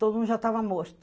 Todo mundo já estava morto.